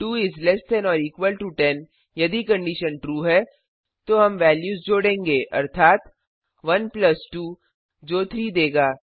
2 इस less than or equal to 10 यदि condition true है तो हम वेल्यूज जोड़ेंगे अर्थात 1 प्लस 2 जो 3 देगा